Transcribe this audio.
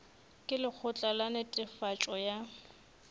ka lekgotla la netefatšo ya